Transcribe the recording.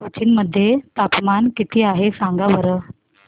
कोचीन मध्ये तापमान किती आहे सांगा बरं